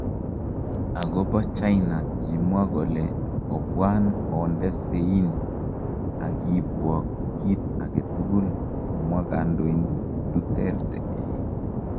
"Agobo China, kimwaa kole, ' Obwan onde sein ak kiibwok kit agetugul',"komwa Kandoindet Duterte.